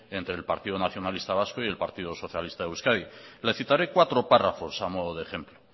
entre el partido nacionalista vasco y el partido socialista de euskadi le citaré cuatro párrafos a modo de ejemplo